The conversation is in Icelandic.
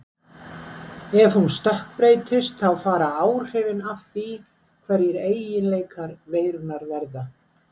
Og ef hún stökkbreytist þá fara áhrifin af því hverjir eiginleikar veirunnar verða.